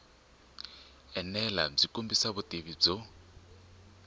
enela byi kombisa vutivi byo